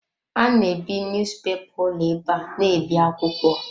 A na ebi niyuzupepa ụlọ ebe a na-ebi akwụkwọ.